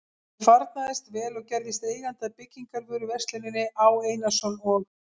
Honum farnaðist vel og gerðist eigandi að byggingarvöruversluninni Á. Einarsson og